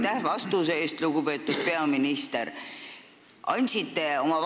Aitäh vastuse eest, lugupeetud peaminister!